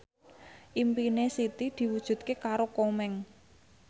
impine Siti diwujudke karo Komeng